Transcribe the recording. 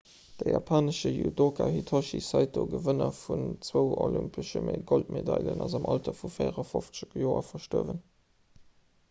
de japanesche judoka hitoshi saito gewënner vun zwou olympesche goldmedailen ass am alter vu 54 joer gestuerwen